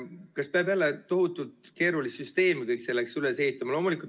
Kas peab jälle tohutult keerulist süsteemi selleks üles ehitama?